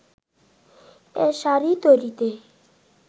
এ শাড়ি তৈরিতে